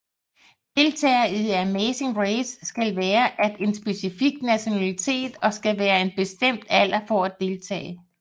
Deltagere i The Amazing Race skal være at en specifik nationalitet og skal være en bestem alder for at deltage